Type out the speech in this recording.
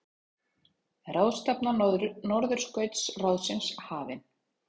Ráðstefna Norðurskautsráðsins hafin